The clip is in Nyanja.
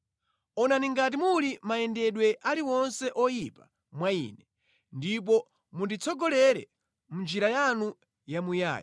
Onani ngati muli mayendedwe aliwonse oyipa mwa ine, ndipo munditsogolere mʼnjira yanu yamuyaya.